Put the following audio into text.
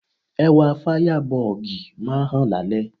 Ẹwà Fáyábọọ̀gì máa ń hàn lálẹ́.